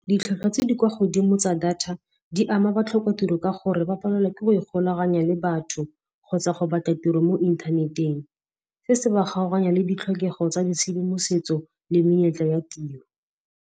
Ditlhwatlhwa tse di kwa godimo tsa data, di ama batlhoka-tiro ka gore ba palelwa ke go ikgolaganya le batho kgotsa go batla tiro mo inthaneteng. Se se ba kgaoganya le ditlhokego tsa ditshedimosetso le menyetla ya tiro.